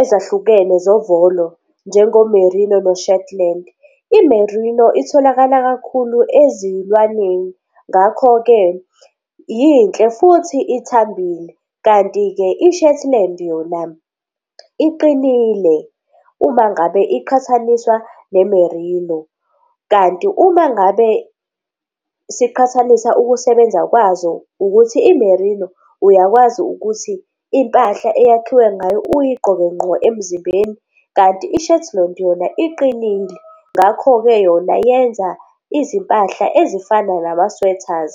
ezahlukene zovolo njengo-Merino no-Shetland, i-Merino itholakala kakhulu ezilwaneni. Ngakho-ke yinhle futhi ithambile kanti-ke i-Shetland yona iqinile uma ngabe iqhathaniswa ne-Merino. Kanti uma ngabe siqhathanisa ukusebenza kwazo ukuthi i-Merino uyakwazi ukuthi impahla eyakhiwe ngayo uyigqoke ngqo emzimbeni, kanti i-Shetland yona iqinile. Ngakho-ke yona yenza izimpahla ezifana nama-sweaters.